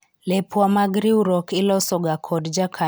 lepwa mag riwruok iloso ga kod jakanyo achiel mar riwruok